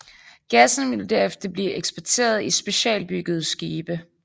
Gassen vil derefter blive eksporteret i specialbyggede skibe